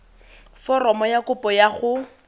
foromo ya kopo ya go